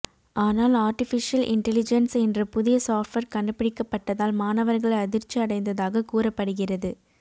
ஆனால் artificial intelligence என்ற புதிய சாப்ட்வேர் கண்டுபிடிக்கப்பட்டதால் மாணவர்கள் அதிர்ச்சி அடைந்ததாக கூறப்படுகிறது